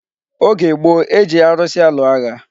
Oge gboo, e ji arusi alụ agha.